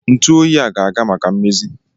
Ntu oyi a ga-aga maka mmezi